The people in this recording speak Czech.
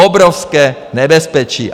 Obrovské nebezpečí!